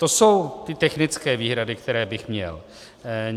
To jsou ty technické výhrady, které bych měl.